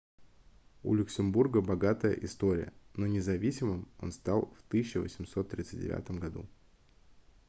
у люксембурга богатая история но независимым он стал в 1839 году